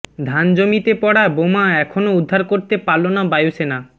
ধান জমিতে পড়া বোমা এখনও উদ্ধার করতে পারল না বায়ুসেনা